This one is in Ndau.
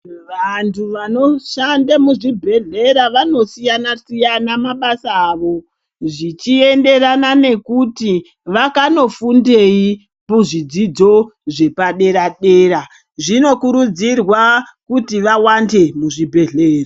Vantu vanoshanda muzvibhedhlera vanosiyana siyana mabasa avo zvichienderana nekuti vakanofundei muzvidzidzo zvepadera dera, zvinokurudzirwa kuti vawande muzvibhedhlera.